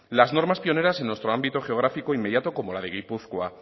las normas pioneras en nuestro ámbito geográfico inmediato como la de gipuzkoa